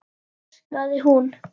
öskraði hún.